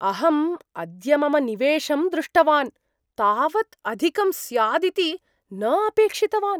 अहं अद्य मम निवेशं दृष्टवान्, तावत् अधिकं स्यादिति न अपेक्षितवान्।